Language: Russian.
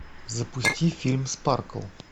запусти фильм спаркл